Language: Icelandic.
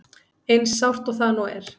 Eins sárt og það nú er.